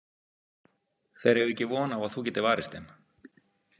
Þeir eiga ekki von á að þú getir varist þeim.